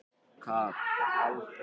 Mateó, hækkaðu í hátalaranum.